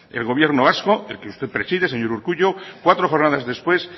el gobierno vasco el que usted preside señor urkullu cuatro jornadas después